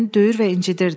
Məni döyür və incidirirdilər.